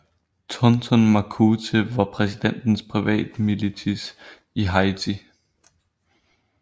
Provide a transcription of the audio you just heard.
Tonton Macoute var præsidentens privatmilits i Haiti